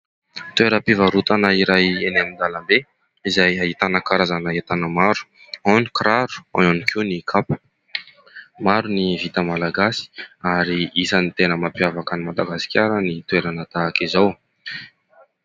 Toeram-pivarotana iray eny an-dalambe izay ahitana karazana entana maro. Ao ny kiraro, ao ihany koa ny kapa. Maro ny vita malagasy ary isany tena mampiavaka an'i Madagasikara ny toerana tahaka izao.